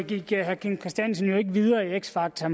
gik herre kim christiansen jo ikke videre i x factor